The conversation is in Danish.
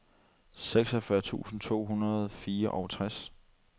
seksogfyrre tusind to hundrede og fireogtres